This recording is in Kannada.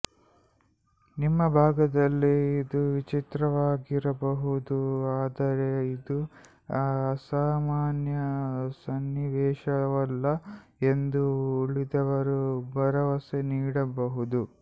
ನಿಮ್ಮ ಭಾಗದಲ್ಲಿ ಇದು ವಿಚಿತ್ರವಾಗಿರಬಹುದು ಆದರೆ ಇದು ಅಸಾಮಾನ್ಯ ಸನ್ನಿವೇಶವಲ್ಲ ಎಂದು ಉಳಿದವರು ಭರವಸೆ ನೀಡಬಹುದು